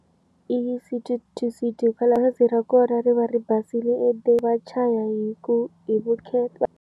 I City to city hikwalaho bazi ra kona ri va ri basile ende vachaya hi ku hi vukheta.